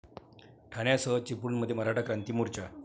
ठाण्यासह चिपळूणमध्ये मराठा क्रांती मोर्चा